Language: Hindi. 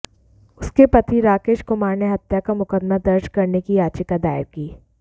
उसके पति राकेश कुमार ने हत्या का मुकदमा दर्ज करने की याचिका दायर की